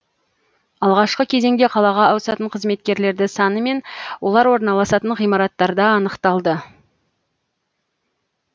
алғашқы кезеңде қалаға ауысатын қызметкерлерді саны мен олар орналасатын ғимараттарда анықталды